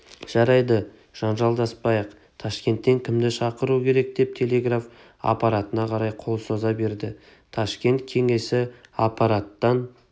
жарайды жанжалдаспайық ташкенттен кімді шақыру керек деп телеграф аппаратына қарай қол соза берді ташкент кеңесі аппараттан